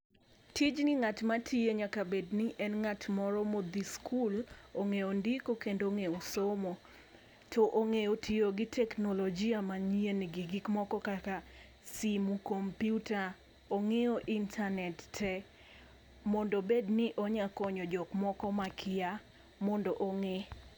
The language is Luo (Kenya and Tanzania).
Tijni ng'at matiye nyaka bed ni en ng'at moro modhi skul ong'eyo ndiko kendo ong'eyo somo to ong'eyo tiyo gi teknolojia manyien gi gik moko kaka simu, komputa ong'eyo intanet tee mondo obed ni onya konyo jok moko makia mondo ong'e.